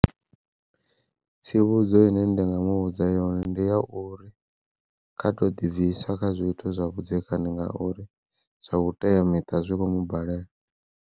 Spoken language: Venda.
Tsivhudzo ine ndi nga mu vhudza yone ndi ya uri kha to ḓibvisa kha zwithu zwa vhudzekani ngauri zwa vhuteamiṱa zwi khomu balela.